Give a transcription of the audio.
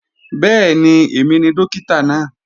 Bẹ́ẹ̀ni, èmi ni Dókítà náà